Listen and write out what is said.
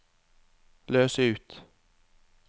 løs ut